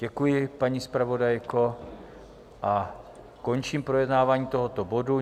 Děkuji, paní zpravodajko, a končím projednávání tohoto bodu.